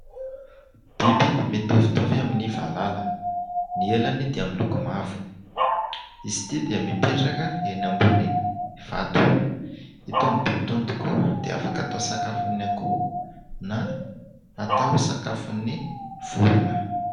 Biby mitovitovy amin'ny valala. Ny elany dia miloko mavo. Izy ity dia mipetraka eny ambony vato. Itony biby itony tokoa dia afaka atao sakafon'ny akoha na atao sakafon'ny vorona.